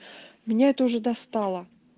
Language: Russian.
меня это уже достало